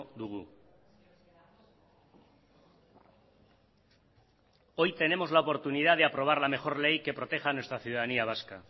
dugu hoy tenemos la oportunidad de aprobar la mejor ley que proteja a nuestra ciudadanía vasca